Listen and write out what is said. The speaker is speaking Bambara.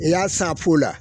I y'a san fu la.